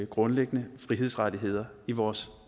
grundlæggende frihedsrettigheder i vores